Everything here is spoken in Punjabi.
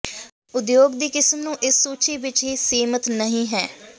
ਉਦਯੋਗ ਦੀ ਕਿਸਮ ਨੂੰ ਇਸ ਸੂਚੀ ਵਿੱਚ ਹੀ ਸੀਮਿਤ ਨਹੀ ਹੈ